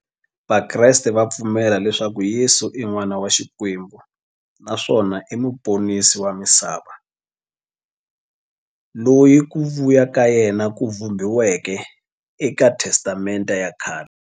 Vakreste va pfumela leswaku Yesu i n'wana wa Xikwembu naswona i muponisi wa misava, loyi ku vuya ka yena ku vhumbiweke eka Testamente ya khale.